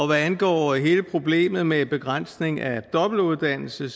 hvad angår hele problemet med en begrænsning af dobbeltuddannelse